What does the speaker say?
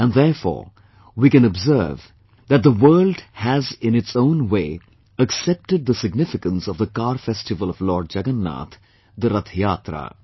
And therefore, we can observe that the world has in its own way accepted the significance of the Car Festival of Lord Jagannath, The Rath Yatra